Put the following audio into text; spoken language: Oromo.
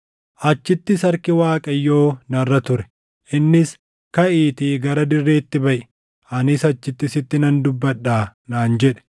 Achittis harki Waaqayyoo narra ture; innis, “Kaʼiitii gara dirreetti baʼi; anis achitti sitti nan dubbadhaa” naan jedhe.